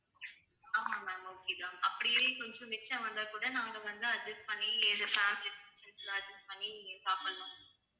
ஆமாம் ma'am okay தான் அப்படியே கொஞ்சம் மிச்சம் வந்தா கூட நாங்க வந்து adjust பண்ணி எங்க family adjust பண்ணி சாப்படலாம்